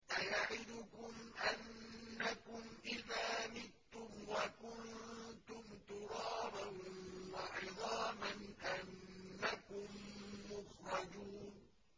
أَيَعِدُكُمْ أَنَّكُمْ إِذَا مِتُّمْ وَكُنتُمْ تُرَابًا وَعِظَامًا أَنَّكُم مُّخْرَجُونَ